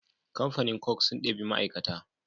Kamfanin coke sun ɗebi ma aikata